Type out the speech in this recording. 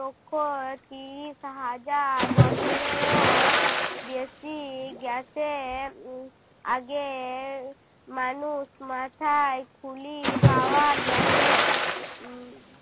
লক্ষ তিরিশ হাজার বছরেও বেশি গেছে উহ আগের মানুষ মাথায় খুলি পাওয়া গেছে। উহ